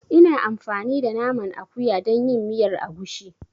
Ina amfani da Naman akuya dan yin miyar agushi.